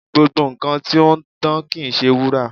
Gbogbo nkan ti o n dan kii ṣe wura